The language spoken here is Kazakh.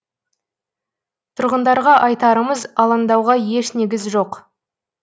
тұрғындарға айтарымыз алаңдауға еш негіз жоқ